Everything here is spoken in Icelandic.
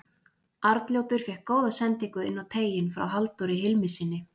Arnljótur fékk góða sendingu inn á teiginn frá Halldóri Hilmissyni.